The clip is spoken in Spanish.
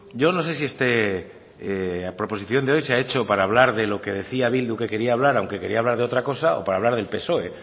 yo no sé si es que la proposición de ley se ha hecho para hablar de lo que decía bildu que quería hablar aunque quería hablar de otra cosa o para hablar del psoe